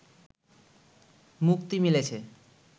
মুক্তি মিলেছে